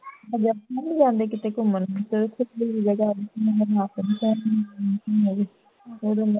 ਜਾਂਦੇ ਨਹੀਂ ਕਿਥੇ ਘੁੰਮਣ